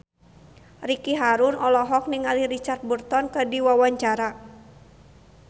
Ricky Harun olohok ningali Richard Burton keur diwawancara